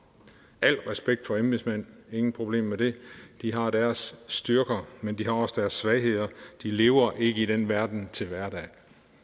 al respekt for embedsmændene intet problem med det de har deres styrker men de har også deres svagheder de lever ikke i den verden til hverdag